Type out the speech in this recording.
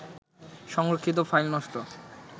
সংরক্ষিত ফাইল নষ্ট